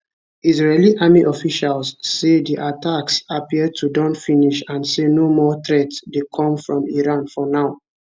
israeli army officials say di attacks appear to don finish and say no more threat dey come from iran for now